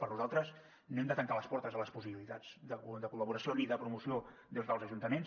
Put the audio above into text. per nosaltres no hem de tancar les portes a les possibilitats de col·laboració ni de promoció des dels ajuntaments